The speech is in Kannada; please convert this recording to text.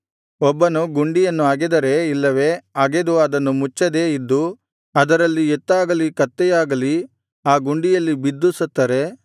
ಒಬ್ಬನು ಗುಂಡಿಯನ್ನು ಅಗೆದರೆ ಇಲ್ಲವೆ ಅಗೆದು ಅದನ್ನು ಮುಚ್ಚದೇ ಇದ್ದು ಅದರಲ್ಲಿ ಎತ್ತಾಗಲಿ ಕತ್ತೆಯಾಗಲಿ ಆ ಗುಂಡಿಯಲ್ಲಿ ಬಿದ್ದು ಸತ್ತರೆ